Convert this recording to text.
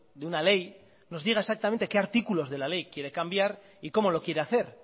de una ley nos diga exactamente qué artículos de la ley quiere cambiar y cómo lo quiere hacer